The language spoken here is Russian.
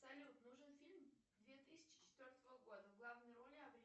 салют нужен фильм две тысячи четвертого года в главной роли